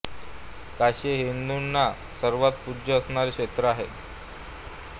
काशी हे हिंदूंना सर्वांत पूज्य असणारे क्षेत्र आहे